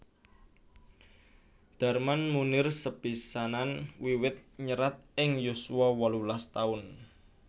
Darman Moenir sepisanan wiwit nyerat ing yuswa wolulas taun